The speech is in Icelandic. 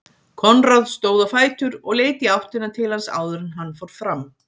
Konráð stóð á fætur og leit í áttina til hans áður en hann fór fram.